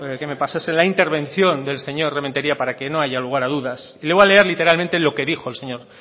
que me pasasen la intervención del señor rementeria para que no haya lugar a dudas le voy a leer literalmente lo que dijo el señor